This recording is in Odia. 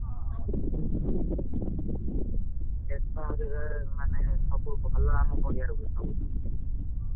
ହଁ କେତେଆଡେ କୁଆଡେ ସବୁ ଭଲ ଆମ ପଡିଆ ହଁ।